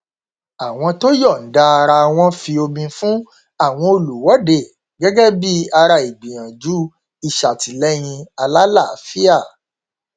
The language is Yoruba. àwọn tó yọnda ara wọn fi omi fún àwọn olùwọdé gẹgẹ bí i ara ìgbìyànjú ìṣàtìlẹyìn alálàáfíà